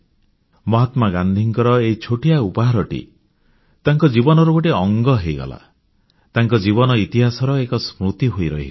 ମହାତ୍ମା ଗାନ୍ଧୀଙ୍କର ଏଇ ଛୋଟିଆ ଉପହାରଟି ତାଙ୍କ ଜୀବନର ଗୋଟିଏ ଅଙ୍ଗ ହୋଇଗଲା ତାଙ୍କ ଜୀବନ ଇତିହାସରେ ସ୍ମୃତିର ଏକ ଖିଅ ହୋଇ ରହିଗଲା